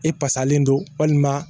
E pasalen don walima